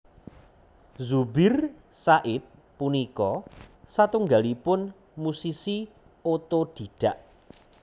Zubir Said punika satunggalipun musisi otodhidhak